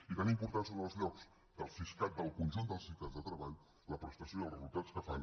i tan importants són els llocs de treball del siscat del conjunt del siscat la prestació i els resultats que fan